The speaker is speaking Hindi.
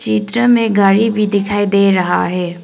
चित्र में गाड़ी भी दिखाई दे रहा है।